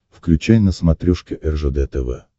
включай на смотрешке ржд тв